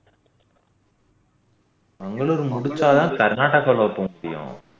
மங்களூர் முடிச்சாதான் கர்நாடகால போக முடியும்